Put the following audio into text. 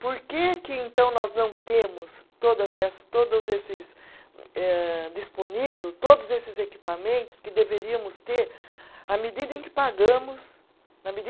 Por que que, então, nós não temos todas eh, todos esses eh, disponível, todos esses equipamentos que deveríamos ter à medida em que pagamos, na medi